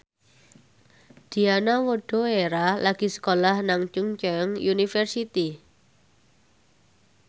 Diana Widoera lagi sekolah nang Chungceong University